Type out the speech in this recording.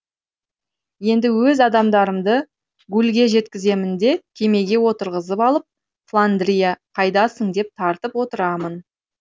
енді өз адамдарымды гулльге жеткіземін де кемеге отырғызып алып фландрия қайдасың деп тартып отырамын